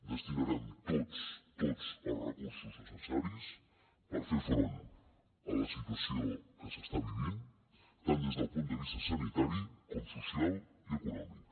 destinarem tots tots els recursos necessaris per fer front a la situació que s’està vivint tant des del punt de vista sanitari com social i econòmic